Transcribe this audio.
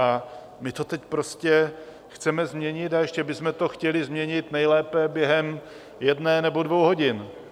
A my to teď prostě chceme změnit, a ještě bychom to chtěli změnit nejlépe během jedné nebo dvou hodin.